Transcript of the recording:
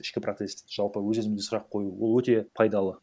ішкі процесс жалпы өз өзімізге сұрақ қою ол өте пайдалы